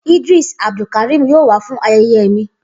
Idris Abdulkarim yoo wa fun ayeye mi.